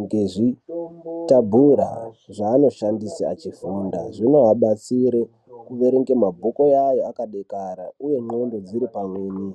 ngezvitabhura zvaanoshandisa achifunda zvinoabatsire kuerenge mabhuku awo akadekara uye nxlondo dziripamweni.